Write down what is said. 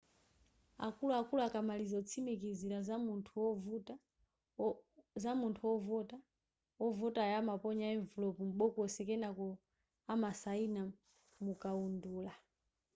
akuluakulu akamaliza kutsimikizira za munthu ovota wovotayo amaponya emvulopu m'bokosi kenako amasayina mukaundula